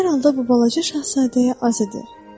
Hər halda bu balaca şahzadəyə az idi.